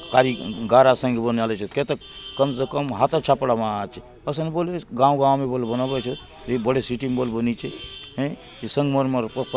खाली गारा संगे बनलायचत केतक कम से कम हाथे छापला मा अछे कसन बललिस गांव-गांव ने बले बनालायचत ये बड़े सिटी ने बले बनीचे ये संगमरमर पत्थर --